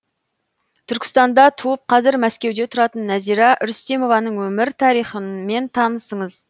түркістанда туып қазір мәскеуде тұратын нәзира рүстемованың өмір тарихымен танысыңыз